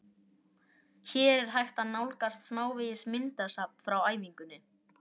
Hér er hægt að nálgast smávegis myndasafn frá æfingunni: